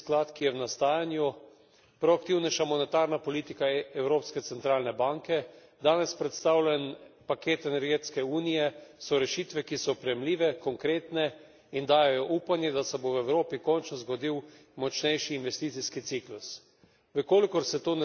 Junckerjev investicijski sklad, ki je v nastajanju, proaktivnejša monetarna politika Evropske centralne banke, danes predstavljen paket energetske unije, so rešitve, ki so oprijemljive, konkretne in dajejo upanje, da se bo v Evropi končno zgodil močnejši investicijski ciklus.